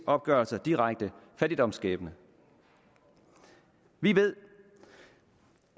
opgørelser direkte fattigdomsskabende vi ved